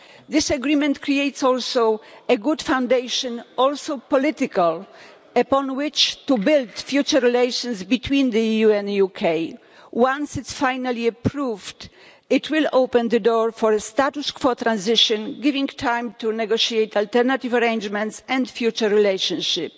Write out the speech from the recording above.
This agreement creates also a good foundation, also political, upon which to build future relations between the EU and the UK. Once it is finally approved, it will open the door for a status quo transition, giving time to negotiate alternative arrangements and a future relationship.